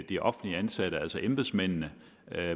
de offentligt ansatte altså embedsmændene